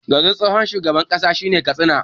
Garin tsohon shugaban Najeriya shine Katsina